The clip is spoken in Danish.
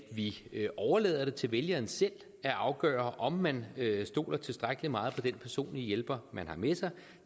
vi overlader det til vælgeren selv at afgøre om man stoler tilstrækkelig meget på den personlige hjælper man har med sig